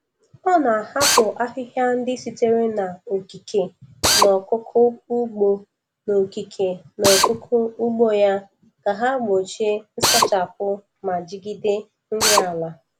Ọ na-ahapụ ahịhịa ndị sitere n’okike n’akụkụ ugbo n’okike n’akụkụ ugbo ya, ka ha gbochie nsachapụ ma jigide nri ala.